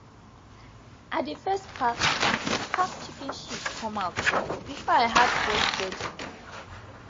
i dey first pack pack chicken shit come out before i add fresh bedding